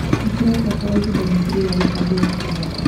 Nĩtũrabatara ihinda makĩria rĩa gubanga ũhiki wake